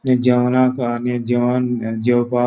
थे जेवणाक आणि जेवण जेवपाक --